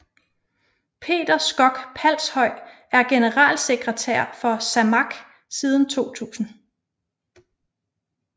Peter Koch Palshøj er generalsekretær for SAMAK siden 2000